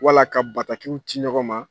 Wala ka batakiw ci ɲɔgɔn ma.